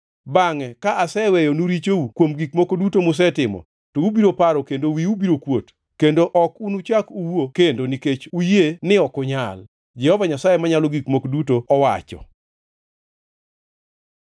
Bangʼe ka aseweyonu richou kuom gik moko duto musetimo, to ubiro paro kendo wiu biro kuot, kendo ok unuchak uwuo kendo nikech unuyie ni ok unyal, Jehova Nyasaye Manyalo Gik Moko Duto owacho.’ ”